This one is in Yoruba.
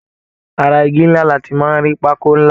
Ará ìgi nlá là tí máa n rí pákó nlá.